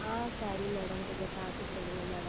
ஆஹ் சரிங்கள் Madam கொஞ்சம் பார்த்து சொல்லுங்கள் Madam